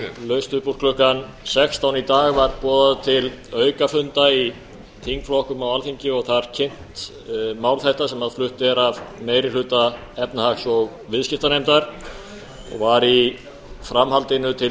laust upp úr klukkan sextán í dag var boðað til aukafunda í þingflokkum á alþingi og þar kynnt mál þetta sem flutt er af meiri hluta efnahags og viðskiptanefndar og var í framhaldinu til